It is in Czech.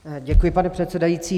Děkuji, pane předsedající.